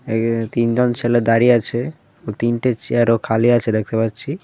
এখানে তিনজন ছেলে দাঁড়িয়ে আছে তিনটে চেয়ারও খালি আছে দেখতে পাচ্ছি.